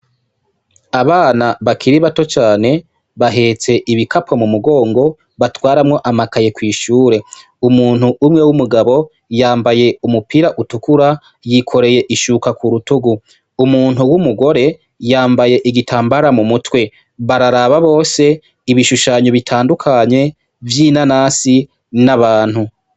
Abana bakiri bato cane bahetse ibikapo mu mugongo batwaramwo amakaye kw’ishure , Umuntuu umwe w’umugabo yambaye umupira utukura yikoreye ishuka ku rutugu , umuntu w’imugore yambaye igitambara mu mutwe bararaba bose ibishushanyo bitandukanye vy’inanasi n’abantu.